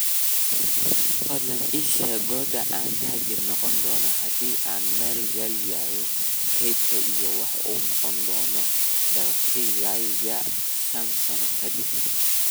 Fadlan ii sheeg goorta aan taajir noqon doono haddii aan maal galiyo kaydka iyo waxa uu noqon doono dakhligayga shan sano kadib